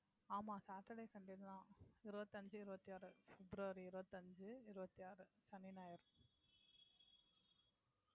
ஆமா saturday sunday தான் இருவத்தி அஞ்சு இருவத்தி ஆறு february இருபத்தி அஞ்சு இருபத்தி ஆறு சனி ஞாயிறு